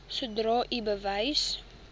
sodra u bewus